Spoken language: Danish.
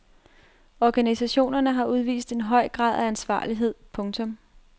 Organisationerne har udvist en høj grad af ansvarlighed. punktum